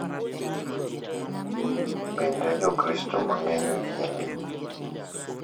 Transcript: Bende, Jokristo mang’eny oyie ni ,.